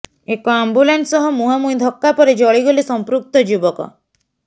ଏକ ଆମ୍ବୁଲାନ୍ସ ସହ ମୁହାଁମୁହିଁ ଧକ୍କା ପରେ ଜଳିଗଲେ ସମ୍ପୃକ୍ତ ଯୁବକ